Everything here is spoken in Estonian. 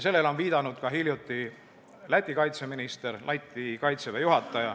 Sellele viitas hiljuti ka Läti kaitseminister.